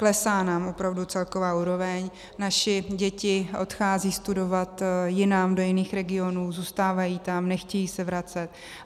Klesá nám opravdu celková úroveň, naše děti odcházejí studovat jinam, do jiných regionů, zůstávají tam, nechtějí se vracet.